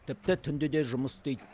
тіпті түнде де жұмыс істейді